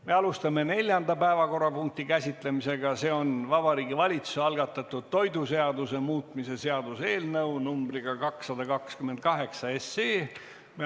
Me alustame neljanda päevakorrapunkti käsitlemist, milleks on Vabariigi Valitsuse algatatud toiduseaduse muutmise seaduse eelnõu numbriga 228.